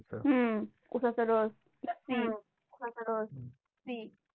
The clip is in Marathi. हम्म उसाचा रस